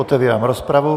Otevírám rozpravu.